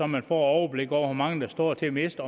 man får overblikket over hvor mange der står til at miste